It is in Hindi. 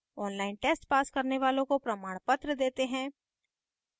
online test pass करने वालों को प्रमाणपत्र देते हैं